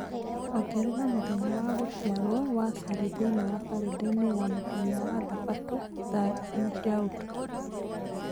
ongerera mũthenya wa gũciarũo wa Sally thĩinĩ wa kalendarĩ ya mũthenya wa Thabatũ thaa inya cia ũtukũ